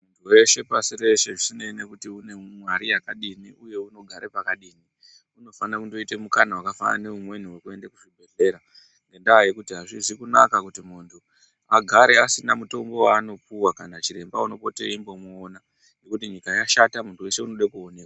Veshe pasi reshe zvisinei nekuti une mare yakadini uye unogare pakadini unofana kundoite mukana wakafanana neumweni wekuende kuchibhedhlera ngendaa yekuti azvizi kunaka kuti muntu agare asina mutombo waanopuwa kana chiremba unopota eimbomuona ngekuti nyika yashata munhu wese unode kuonekwa.